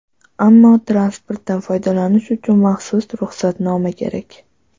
Ammo transportdan foydalanish uchun maxsus ruxsatnoma kerak.